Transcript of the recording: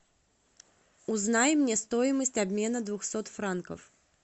узнай мне стоимость обмена двухсот франков